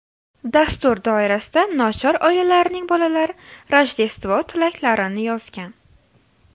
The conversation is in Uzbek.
Dastur doirasida nochor oilalarning bolalari Rojdestvo tilaklarini yozgan.